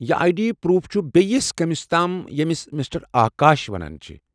یہ A D proof چھ بیٚیس کٔمِس تام ییٚمس مِسٹر آکاش ونان چھِ ۔